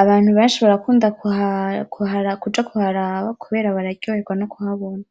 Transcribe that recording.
Abantu benshi barakunda kuja kuharaba kubera baryoherwa no kuhabona.